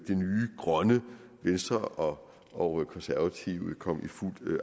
nye grønne venstre og og konservative komme i fuld